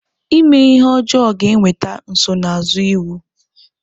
Ime ihe ọjọọ ga-eweta nsonaazụ iwu.